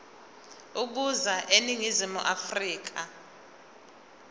ukuza eningizimu afrika